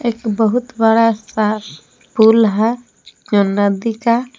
एक बहुत बड़ा सा पुल है जो नदी का।